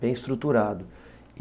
bem estruturado.